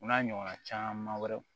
U n'a ɲɔgɔnna caman wɛrɛ